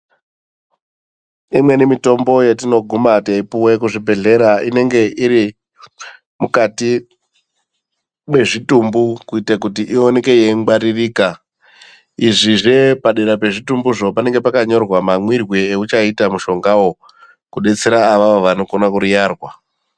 Imweni mitombo yetinoguma teipuwe kuzvibhedhlera inenge iri mukati mwezvitumbu kuite kuti ionike yeingwaririka izvizve padera pezvitumbuzvo panenge pakanyorwa mamwirwe euchaita mushongawO kudetsera avavo vanokone kuriyarwa.